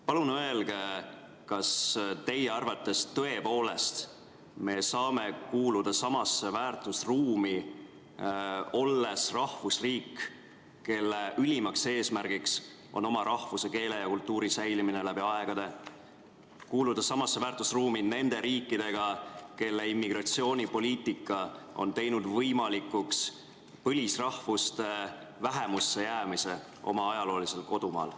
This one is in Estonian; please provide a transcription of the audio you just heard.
Palun öelge, kas teie arvates me tõepoolest saame kuuluda nendega samasse väärtusruumi, olles rahvusriik, kelle ülimaks eesmärgiks on oma rahvuse, keele ja kultuuri säilimine läbi aegade – kuuluda samasse väärtusruumi nende riikidega, kelle immigratsioonipoliitika on teinud võimalikuks põlisrahvuste vähemusse jäämise oma ajaloolisel kodumaal.